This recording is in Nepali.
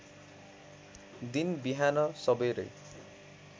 दिन बिहान सबेरै